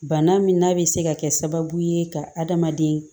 Bana min n'a bɛ se ka kɛ sababu ye ka adamaden